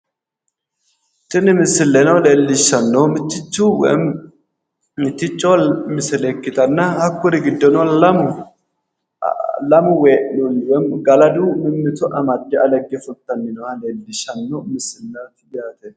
Tini misile leellishshanno mitticho misile ikkitanna lamu wee'nooti galadi mimmito amadde alegge fultanna leellishshanno misile yaate